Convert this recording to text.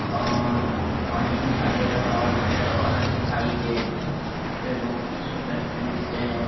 अअअ पानी दिखाई दे रहा है और पेड़ और दिखाई दे रहे है वे बहुत ही सुंदर दृश्य है।